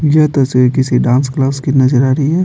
यह तस्वीर किसी डांस क्लास की नजर आ रही है।